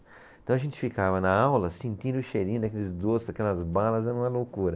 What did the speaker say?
Então a gente ficava na aula sentindo o cheirinho daqueles doces, daquelas balas, era uma loucura.